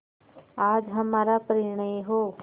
आज हमारा परिणय हो